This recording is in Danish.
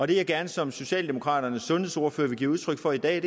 det jeg som socialdemokraternes sundhedsordfører gerne vil give udtryk for i dag